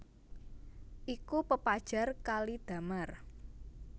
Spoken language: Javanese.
Iku pepajar kali damar